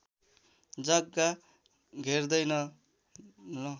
जग्गा घेर्दैन न